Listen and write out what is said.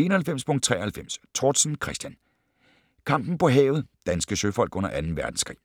91.93 Tortzen, Christian: Kampen på havet: danske søfolk under Anden Verdenskrig